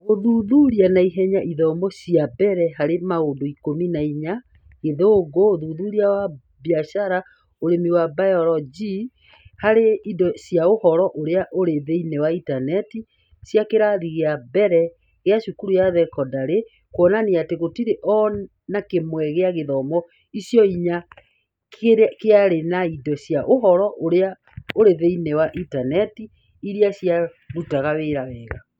Gũthuthuria na ihenya ithomo inya cia mbere harĩ maũndũ Ikũmi na inya (Gĩthũngũ, ũthuthuria wa biacara, Ũrĩmi na bayorojĩ ) harĩ indo cia Ũhoro ũrĩa ũrĩ thĩinĩ wa Intaneti cia kĩrathi gĩa mbere gĩa cukuru ya thekondarĩ kuonanirie atĩ gũtirĩ o na kĩmwe gĩa ithomo icio inya kĩarĩ na indo cia Ũhoro ũrĩa ũrĩ thĩinĩ wa Intaneti , iria ciarutaga wĩra wega.